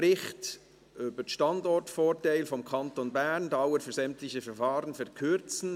Bericht über den Standortvorteil des Kantons Bern, «Dauer für sämtliche Verfahren verkürzen».